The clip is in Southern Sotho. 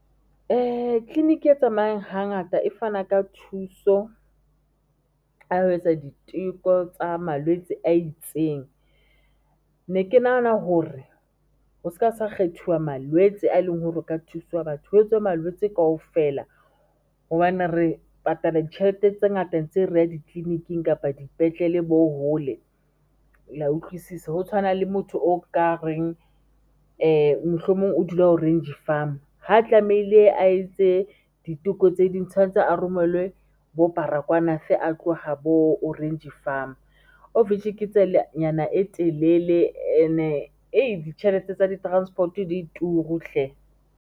Clinic e tsamayang hangata e fana ka thuso ka ho etsa diteko tsa malwetse a itseng. Ne ke nahana hore ho ska sa kgethuwa malwetse a eleng hore ho ka thuswa batho ho etswe malwetse kaofela. Hobane re patala ditjhelete tse ngata ntse re ya di-clinic-ing kapa dipetlele bo hole le ya utlwisisa. Ho tshwana le motho o ka reng, mohlomong o dula Orange Farm ha tlamehile a e tse ditheko tse ding tshwantse a romelwe bo Baragwanath a tloha bo Orange Farm of which ke tsela nyana e telele and-e ditjhelete tsa di-transport di turu hle.